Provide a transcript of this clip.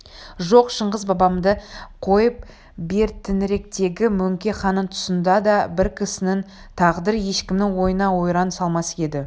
жоқ шыңғыс бабамды қойып бертініректегі мөңке ханның тұсында да бір кісінің тағдыры ешкімнің ойына ойран салмас еді